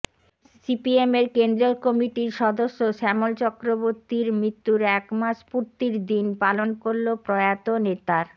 সিপিএমের কেন্দ্রীয় কমিটির সদস্য শ্যামল চক্রবর্তীর মৃত্যুর এক মাস পূর্তির দিন পালন করল প্রয়াত নেতার